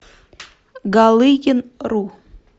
галыгин ру